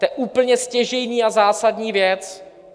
To je úplně stěžejní a zásadní věc.